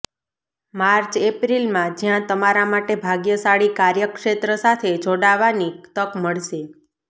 March એપ્રિલમાં જ્યાં તમારા માટે ભાગ્યશાળી કાર્યક્ષેત્ર સાથે જોડાવાની તક મળશે